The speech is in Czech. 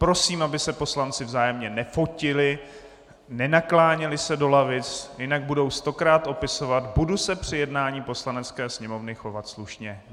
Prosím, aby se poslanci vzájemně nefotili, nenakláněli se do lavic, jinak budou stokrát opisovat "budu se při jednání Poslanecké sněmovny chovat slušně".